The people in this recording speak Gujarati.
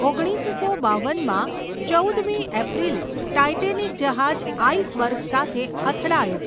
ઓગણીસસો બાવન માં ચૌદ મી એપ્રિલે ટાઇટેનિક જહાજ આઇસબર્ગ સાથે અથડાયુ.